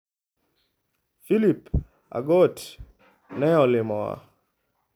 Philip Agot ne olimowa.